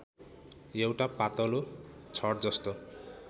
एउटा पातलो छडजस्तो